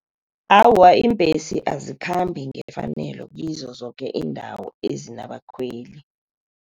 Awa, iimbhesi azikhambi ngefanelo kizo zoke iindawo ezinabakhweli.